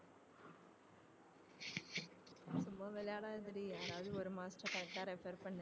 சும்மா விளையாடாதடி யாராவது ஒரு master correct ஆ refer பண்ணு